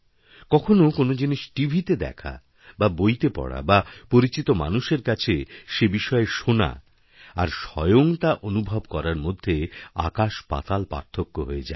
কখনও কোনো জিনিস টিভিতে দেখাবা বইতে পড়া বা পরিচিত মানুষের কাছে সে বিষয়ে শোনা আর স্বয়ং তা অনুভব করার মধ্যেআকাশপাতাল পার্থক্য হয়ে যায়